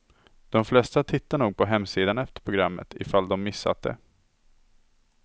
De flesta tittar nog på hemsidan efter programmet, i fall de missat det.